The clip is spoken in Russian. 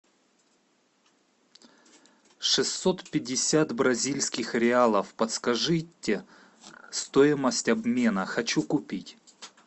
шестьсот пятьдесят бразильских реалов подскажите стоимость обмена хочу купить